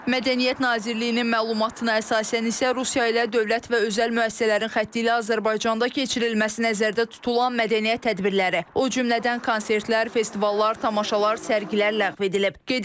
Mədəniyyət Nazirliyinin məlumatına əsasən isə Rusiya ilə dövlət və özəl müəssisələrin xətti ilə Azərbaycanda keçirilməsi nəzərdə tutulan mədəniyyət tədbirləri, o cümlədən konsertlər, festivallar, tamaşalar, sərgilər ləğv edilib.